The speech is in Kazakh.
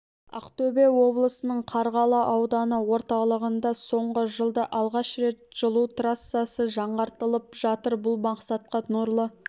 ақтөбе облысының қарғалы ауданы орталығында соңғы жылда алғаш рет жылу трассасы жаңғыртылып жатыр бұл мақсатқа нұрлы